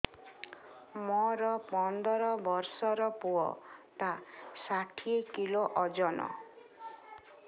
ମୋର ପନ୍ଦର ଵର୍ଷର ପୁଅ ଟା ଷାଠିଏ କିଲୋ ଅଜନ